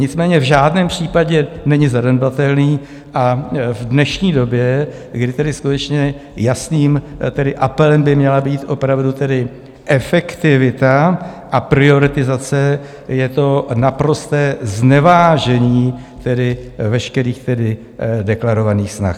Nicméně v žádném případě není zanedbatelný a v dnešní době, kdy skutečně jasným apelem by měla být opravdu efektivita a prioritizace, je to naprosté znevážení veškerých deklarovaných snah.